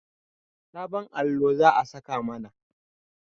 Sabon allo za a saka mana